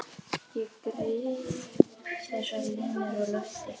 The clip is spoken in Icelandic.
Ég gríp þessar línur á lofti.